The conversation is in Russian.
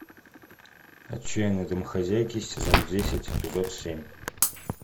отчаянные домохозяйки сезон десять эпизод семь